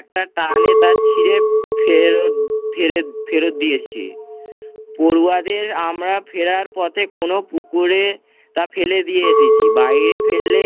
একটা টানে তার ছিড়ে ফেরত ফিরত ফেরত দিয়ে আসছি। পড়ুয়াদের আমরা ফিরার পথে কোন পুকুরে তা ফেলে দিয়ে এসেছি, বাইরে ফেললে